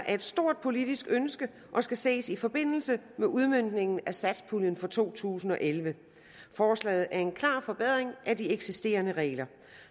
et stort politisk ønske og skal ses i forbindelse med udmøntningen af satspuljen for to tusind og elleve forslaget er en klar forbedring af de eksisterende regler